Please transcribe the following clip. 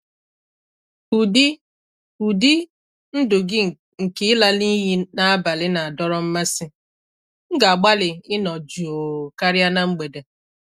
Ụdị Ụdị ndụ gị nke ịla n'iyi n'abalị na-adọrọ mmasị; m ga-agbalị ịnọ jụụ karịa na mgbede.